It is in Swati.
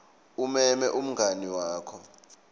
umeme umngani wakho